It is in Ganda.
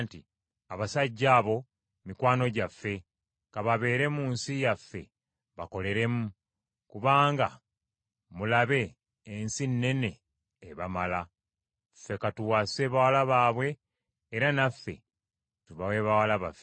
Abasajja abo mikwano gyaffe. Ka babeere mu nsi yaffe bakoleremu, kubanga, mulabe, ensi nnene ebamala. Ffe ka tuwase bawala baabwe era naffe tubawe bawala baffe.